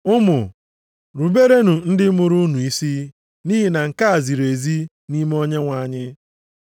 Ụmụ, ruberenụ ndị mụrụ unu isi nʼihi na nke a ziri ezi nʼime Onyenwe anyị.